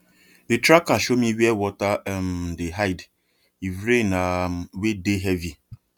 the tracker show me where water um dey hide if rain um wey dey heavy